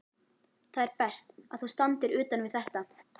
Það er best, að þú standir utan við þetta.